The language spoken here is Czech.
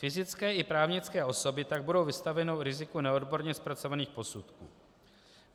Fyzické i právnické osoby tak budou vystaveny riziku neodborně zpracovaných posudků.